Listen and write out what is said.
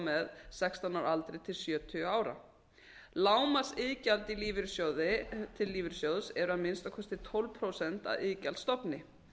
með sextán ára aldri til sjötíu ára lágmarksiðgjald til lífeyrissjóðs er að minnsta kosti tólf prósent af iðgjaldsstofni